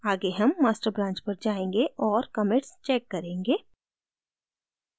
आगे हम master branch पर जायेंगे और commits check करेंगे